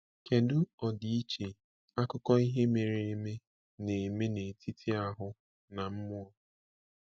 Kedu ọdịiche akụkọ ihe mere eme na-eme n’etiti “ahụ” na “mmụọ”?